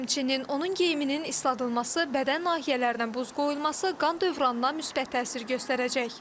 Həmçinin, onun geyiminin isladılması, bədən nahiyələrinə buz qoyulması qan dövranına müsbət təsir göstərəcək.